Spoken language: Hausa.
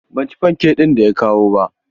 Ban ci fankek ɗin da ya kawo ba.